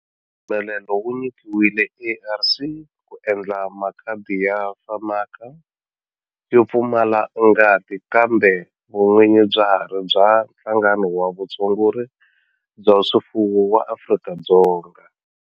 Mpfumelelo wu nyikiwile ARC ku endla makhadi ya FAMACHA yo pfumala ngati kambe vun'winyi bya ha ri bya Nhlangano wa Vutshunguri bya swifuwo wa Afrika-Dzonga.